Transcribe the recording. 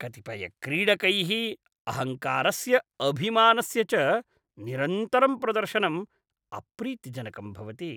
कतिपयक्रीडकैः अहङ्कारस्य अभिमानस्य च निरन्तरं प्रदर्शनं अप्रीतिजनकं भवति।